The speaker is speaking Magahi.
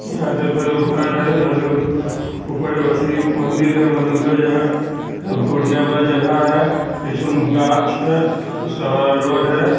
इहाँ देखो एगो घर है घर के ऊपर अथी एगो मंदिर है मंदिर के यहां घूरने वाला जगह है पीछे में गाछ है उसके बाद रोड है।